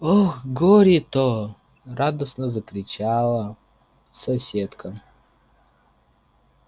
ох горе-то радостно закричала соседка